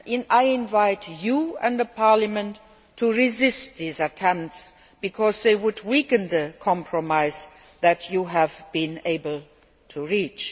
I invite you and Parliament to resist these attempts, because they would weaken the compromise that you have been able to reach.